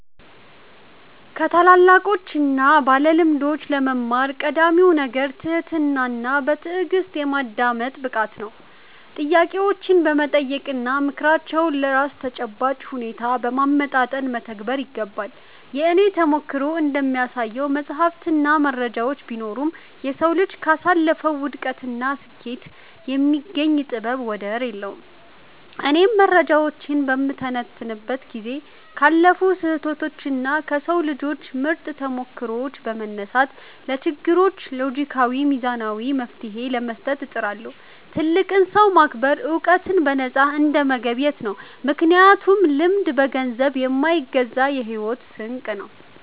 ከታላላቆችና ባለልምዶች ለመማር ቀዳሚው ነገር ትህትናና በትዕግሥት የማዳመጥ ብቃት ነው። ጥያቄዎችን በመጠየቅና ምክራቸውን ለራስ ተጨባጭ ሁኔታ በማመጣጠን መተግበር ይገባል። የእኔ ተሞክሮ እንደሚያሳየው፣ መጻሕፍትና መረጃዎች ቢኖሩም፣ የሰው ልጅ ካሳለፈው ውድቀትና ስኬት የሚገኝ ጥበብ ወደር የለውም። እኔም መረጃዎችን በምተነትንበት ጊዜ ካለፉ ስህተቶችና ከሰው ልጆች ምርጥ ተሞክሮዎች በመነሳት፣ ለችግሮች ሎጂካዊና ሚዛናዊ መፍትሔ ለመስጠት እጥራለሁ። ትልቅን ሰው ማክበር ዕውቀትን በነፃ እንደመገብየት ነው፤ ምክንያቱም ልምድ በገንዘብ የማይገዛ የሕይወት ስንቅ ነው።